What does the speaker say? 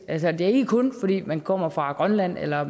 altså ikke kun fordi man kommer fra grønland eller